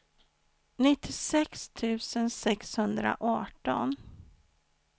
nittiosex tusen sexhundraarton